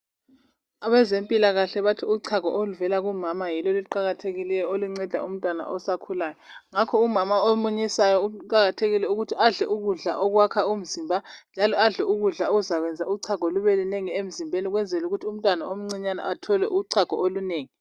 abezempikahle bathi uchago oluvela kumama yilo oluqakathekileyo olunceda umntwana osakhulayo ngakho umamaomunyisayo uqakathekile ukuti adle ukudla okwakha umzimba njalo adle ukudla okuzakwenza uchago lube lunengi emzimbeni ukwenzela ukuthi umntwana omncinyane athole uchago olunengi